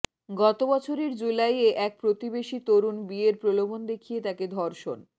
গত বছরের জুলাইয়ে এক প্রতিবেশী তরুণ বিয়ের প্রলোভন দেখিয়ে তাকে ধর্ষণ